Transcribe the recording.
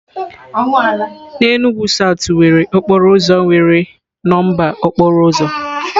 N'Enugwu south nwere okporo ụzọ nwere nọmba okporo ụzọ.